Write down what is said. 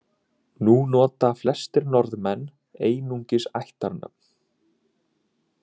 Nú nota flestir Norðmenn einungis ættarnöfn.